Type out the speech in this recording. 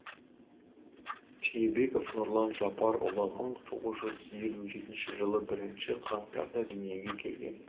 түйебеков нұрлан жапарұлы мың тоғыз жүз елу жетінші жылы бірінші қаңтарда дүниеге келген